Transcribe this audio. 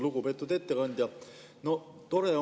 Lugupeetud ettekandja!